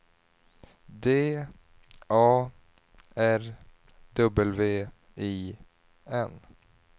D A R W I N